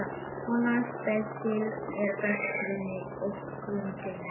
Svona snepill er best geymdur í öskutunnunni.